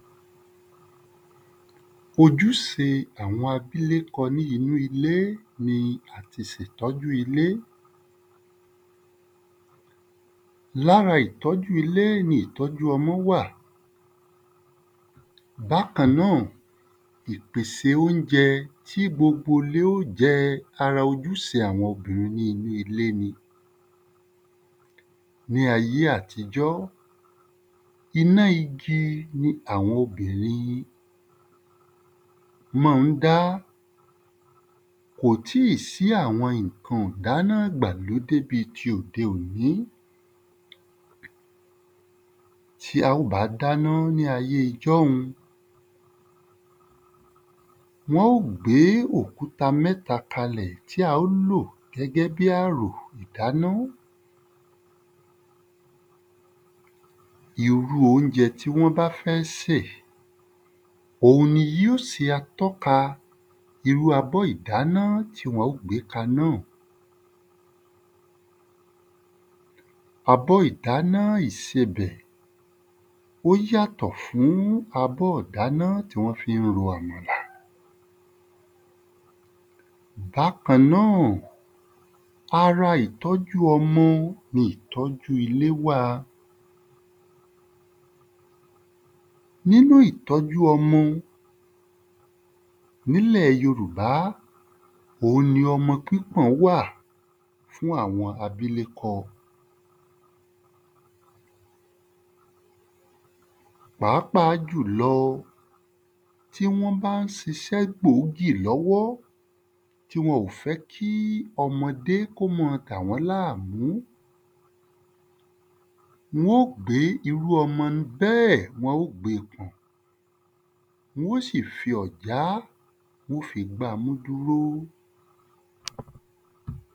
Ojúse àwọn abílékọ ní inú ilé ni àtisètọ́jú ilé. L’ára ìtọ́jú ilé ni ìtọ́jú ọmọ wà. Bákan náà, ìpèsè óunjẹ tí gbogbo ‘lé ó jẹ ara ojúse àwọn obìnrin ní inú ilé ni. Ní ayé àtijọ́, iná igi ni àwọn obìnrin mọ́ ń dá. Kò tíì sí àwọn ìnkan ìdáná ìgbàlódé bí ti òde òní. Tí a ó bá dáná ní ayé ijọ́un, wọ́n ó gbé òkúta mẹ́ta kalẹ̀ tí wọn ó lò gẹ́gẹ́ bí àrò ‘dáná. irú óunjẹ tí wọ́n bá fẹ́ sè òun ni yó se atọ́ka irú abọ́ ìdáná tí wọn ó gbé kaná o. abọ́ ìdaná ìsebẹ̀ ó yàtọ̀ fún abọ́ ìdáná tí wọ́n fí ń ro àmàlà. Bákan náà, ara ìtọ́jú ọmọ ni ìtọ́jú ilé wà. Nínú ìtọ́jú ọmọ, n’ílẹ̀ yorùbá, òun ni ọmọ pípọ̀n wà fún àwọn abílékọ Pàápàá jùlọ, tí wọ́n bá ń sisẹ́ gbòógì lọ́wọ́ tí wọ́n ò fẹ́ kí ọmọdé k’ó ma dàwọ́n láàmú wón ó gbé irú ọmọ bẹ́ẹ̀ wọn ó gbe pọ̀n. Wọ́n ó sì fi ọ̀já wọn ó fi gbamú dúró.